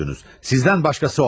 Sizden başkası olamaz.